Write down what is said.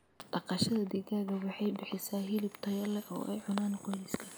Dhaqashada digaaga waxay bixisaa hilib tayo leh oo ay cunaan qoyska.